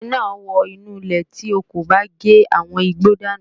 Erè náà ó wọ inú ilé tí o kò bá gé àwọn igbó dànù